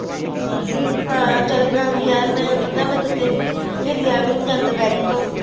ਹਾਂ ਚੱਲ ਬਣਾ ਲਈ ਯਾਰ ਮੈਂ ਪਤਾ ਮੈਂ ਤੋਂ ਤੇ ਹਿੱਲਿਆ ਵੀ ਨਹੀਂ ਜਾਂਦਾ bed ਤੋਂ